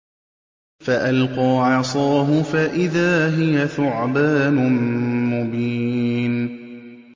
فَأَلْقَىٰ عَصَاهُ فَإِذَا هِيَ ثُعْبَانٌ مُّبِينٌ